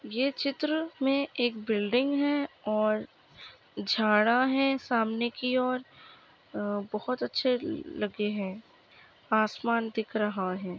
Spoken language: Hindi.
ये चित्र में एक बिल्डिंग है और झाड़ा है सामने की ओर अ बहुत अच्छे लगे है आसमान दिख रहा है।